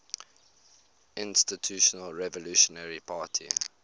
institutional revolutionary party